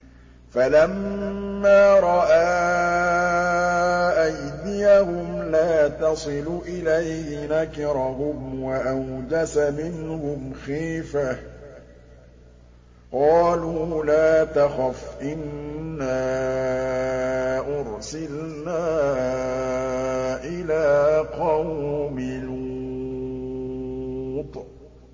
فَلَمَّا رَأَىٰ أَيْدِيَهُمْ لَا تَصِلُ إِلَيْهِ نَكِرَهُمْ وَأَوْجَسَ مِنْهُمْ خِيفَةً ۚ قَالُوا لَا تَخَفْ إِنَّا أُرْسِلْنَا إِلَىٰ قَوْمِ لُوطٍ